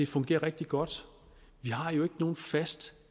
fungerer rigtig godt vi har jo ikke nogen fast